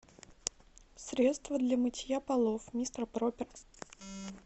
средство для мытья полов мистер пропер